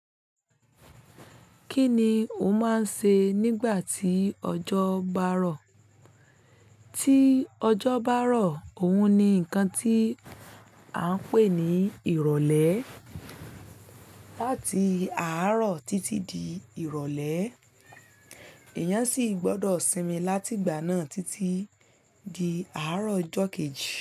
Kí ni ó máa ń ṣe nígbà tí ọjọ́ bá rọ̀? Tí ọjọ́ bá rọ̀, òun ni nǹkan tí à ń pè ní ìrọ̀lẹ́. Láti àárọ̀ títí di ìrọ̀lẹ́, èèyàn sì gbọdọ̀ sinmi láti ìgbà náà títí di àárọ̀ ọjọ́ kejì.